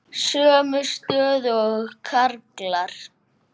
Sömu stöðu og karlar.